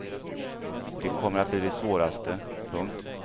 Det kommer att bli det svåraste. punkt